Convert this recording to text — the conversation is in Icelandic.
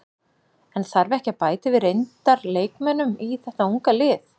En þarf ekki að bæta við reyndar leikmönnum í þeta unga lið?